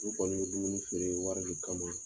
U kɔni bɛ dumuni feere wari de kama.